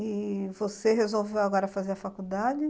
E você resolveu agora fazer a faculdade?